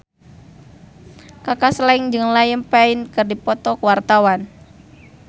Kaka Slank jeung Liam Payne keur dipoto ku wartawan